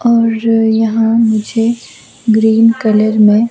और यहाँ मुझे ग्रीन कलर में--